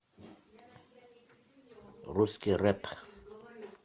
русский рэп